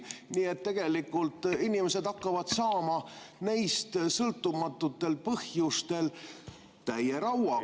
Nii et tegelikult inimesed hakkavad saama neist sõltumatutel põhjustel täie rauaga.